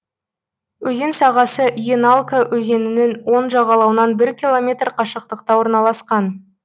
өзен сағасы еналка өзенінің оң жағалауынан бір километр қашықтықта орналасқан